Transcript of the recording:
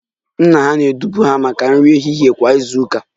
Nna ha na-edupụ ha maka nri ehihie kwa izu ụka